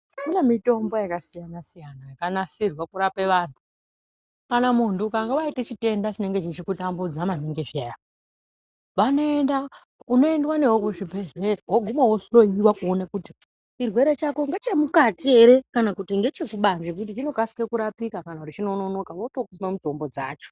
Kune mitombo yakasiyanasiyana yakanasirwa kurape vantu ,kana munhu ukange waite chitenda chinenge chichikutambudza maningi zviyani ,vanoenda unoendwa newe kuzvibhehleya woguma wohloyiwa kuone kuti chirwere chako ngechemukati ere kana kuti ngechekubanzi nekuti chinokasike kurapika kana kuti chinonoka votokupe mitombo dzacho.